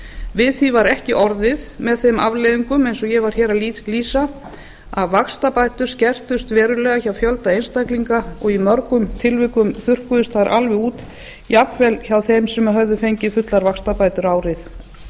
við því var ekki orði með þeim afleiðingum eins og ég var að lýsa að vaxtabætur skertust verulega hjá fjölda einstaklinga og í mörgum tilvikum þurrkuðust þær alveg út jafnvel hjá þeim sem höfðu fengið fullar vaxtabætur árið